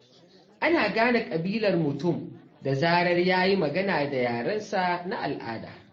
Ana gane ƙabilar mutum da zarar ya yi magana da yarensa na al'ada.